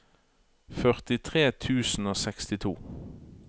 førtitre tusen og sekstito